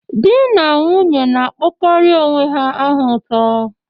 Di na nwunye na-akpọkarị onwe ha aha ụtọ.